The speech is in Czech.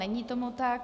Není tomu tak.